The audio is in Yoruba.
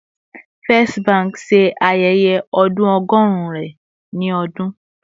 First Bank ṣe ayẹyẹ ọdun ọgọrun rẹ ni ọdun